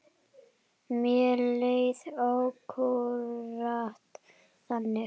Mér leið akkúrat þannig.